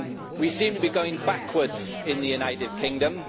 We seem to be going backwards in the United Kingdom.